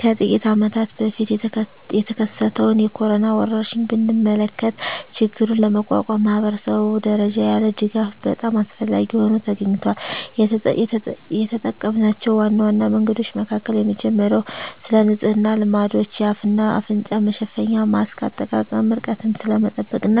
ከጥቂት አመታት በፊት የተከሰተውን የኮሮና ወረርሽኝ ብንመለከ ችግሩን ለመቋቋም ማኅበረሰብ ደረጃ ያለ ድጋፍ በጣም አስፈላጊ ሆኖ ተገኝቷል። የተጠምናቸው ዋና ዋና መንገዶች መካከል የመጀመሪያው ስለንጽህና ልማዶች፣ የአፍ እና አፍንጫ መሸፈኛ ማስክ አጠቃቀም፣ ርቀትን ስለመጠበቅ እና